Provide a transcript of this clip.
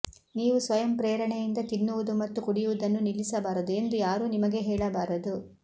ನೀವು ಸ್ವಯಂಪ್ರೇರಣೆಯಿಂದ ತಿನ್ನುವುದು ಮತ್ತು ಕುಡಿಯುವುದನ್ನು ನಿಲ್ಲಿಸಬಾರದು ಎಂದು ಯಾರೂ ನಿಮಗೆ ಹೇಳಬಾರದು